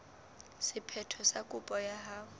sephetho sa kopo ya hao